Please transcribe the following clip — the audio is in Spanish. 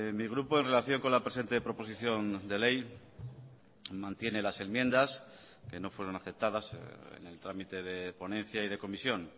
mi grupo en relación con la presente proposición de ley mantiene las enmiendas que no fueron aceptadas en el trámite de ponencia y de comisión